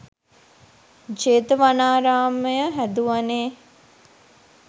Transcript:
Jetavanaramaya හැදුවනේ.